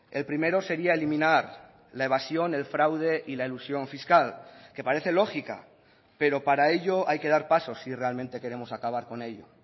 el primero sería eliminar la evasión el fraude y la elusión fiscal que parece lógica pero para ello hay que dar pasos si realmente queremos acabar con ello